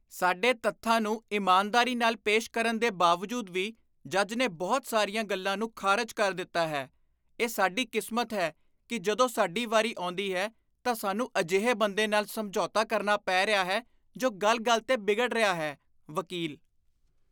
ਸਾਡੇ ਤੱਥਾਂ ਨੂੰ ਇਮਾਨਦਾਰੀ ਨਾਲ ਪੇਸ਼ ਕਰਨ ਦੇ ਬਾਵਜੂਦ ਵੀ ਜੱਜ ਨੇ ਬਹੁਤ ਸਾਰੀਆਂ ਗੱਲਾਂ ਨੂੰ ਖਾਰਜ ਕਰ ਦਿੱਤਾ ਹੈ ਇਹ ਸਾਡੀ ਕਿਸਮਤ ਹੈ ਕੀ ਜਦੋਂ ਸਾਡੀ ਵਾਰੀ ਆਉਂਦੀ ਹੈ ਤਾਂ ਸਾਨੂੰ ਅਜਿਹੇ ਬੰਦੇ ਨਾਲ ਸਮਝੌਤਾ ਕਰਨਾ ਪੇ ਰਿਹਾ ਹੈ ਜੋ ਗੱਲ ਗੱਲ 'ਤੇ ਬਿਗੜ ਰਿਹਾ ਹੈ ਵਕੀਲ